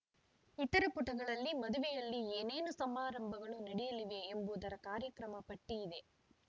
ಇತರ ಪುಟಗಳಲ್ಲಿ ಮದುವೆಯಲ್ಲಿ ಏನೇನು ಸಮಾರಂಭಗಳು ನಡೆಯಲಿವೆ ಎಂಬುದರ ಕಾರ್ಯಕ್ರಮ ಪಟ್ಟಿಇದೆ